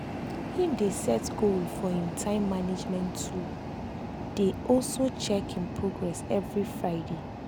him dey set goal for him time management tool dey also check him progress every friday.